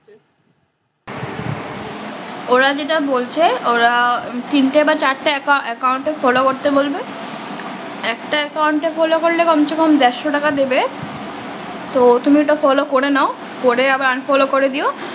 ওরা যেটা বলছে ওরা তিন টা না চার টা account এ follow করতে বলবে একটা account এ follow করলে কমসেকম চারশো টাকা দেবে তো তুমি ওটা follow করে নাও করে আবার unfollow করে দিও